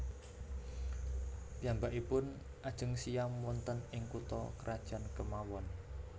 Piyambakipun ajeng siyam wonten ing kutha krajan kemawon